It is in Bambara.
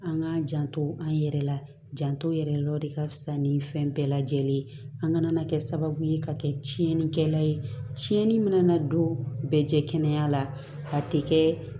An k'a janto an yɛrɛ la janto yɛrɛ de ka fisa ni fɛn bɛɛ lajɛlen ye an kana kɛ sababu ye ka kɛ tiɲɛnikɛla ye tiɲɛni mana don bɛɛ jɛkɛnɛya la a tɛ kɛ